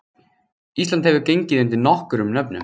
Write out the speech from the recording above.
Ísland hefur gengið undir nokkrum nöfnum.